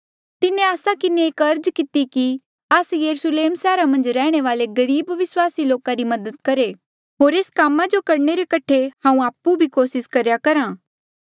तिन्हें आस्सा किन्हें एक अर्ज किती कि आस्से यरुस्लेम सैहरा मन्झ रैहणे वाले गरीब विस्वासी लोका री मदद करहे होर एस ई काम करणे रे कठे हांऊँ आपु भी कोसिस करेया करहा था